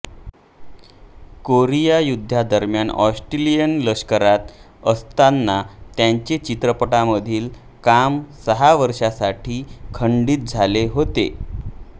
Korea युद्धादरम्यान Australian लष्करात असतांना त्याचे चित्रपटांमधील काम सहा वर्षांसाठी खंडित झाले होते